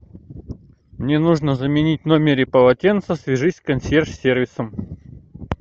мне нужно заменить в номере полотенца свяжись с консьерж сервисом